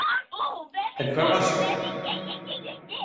En hvar varstu?